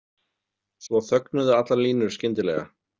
Svo þögnuðu allar línur skyndilega.